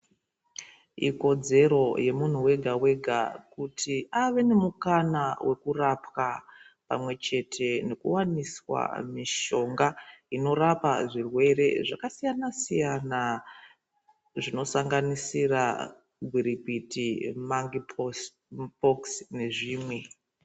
Ikodzero yemunhu wegawega kuti ave nemukana wekurapwa pamwechete nekuwaniswa mishonga inorapa zvirwere zvakasiyanasiyana zvinosanganisira gwirikwiti, mapundu nezvimwe zvakadaro.